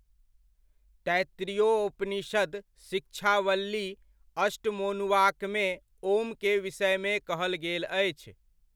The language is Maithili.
तैत्तरीयोपनषद शिक्षावल्ली अष्टमोनुवाकमे ॐ'क विषयमे कहल गेल अछि।